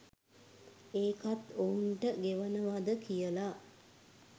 ඒකත් ඔවුන්ට ගෙවනවද කියලා